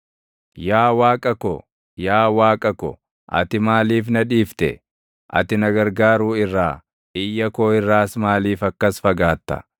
Yaa Waaqa ko, yaa Waaqa ko, ati maaliif na dhiifte? Ati na gargaaruu irraa, iyya koo irraas maaliif akkas fagaatta?